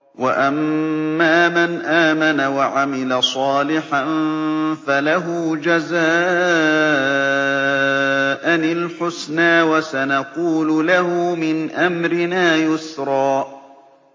وَأَمَّا مَنْ آمَنَ وَعَمِلَ صَالِحًا فَلَهُ جَزَاءً الْحُسْنَىٰ ۖ وَسَنَقُولُ لَهُ مِنْ أَمْرِنَا يُسْرًا